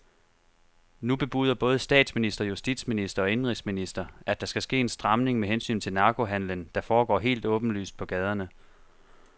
Nu bebuder både statsminister, justitsminister og indenrigsminister, at der skal ske en stramning med hensyn til narkohandelen, der foregår helt åbenlyst på gaderne.